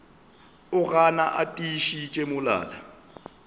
o gana a tiišitše molala